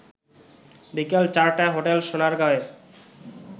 বিকেল চারটায় হোটেল সোনারগাঁওয়ে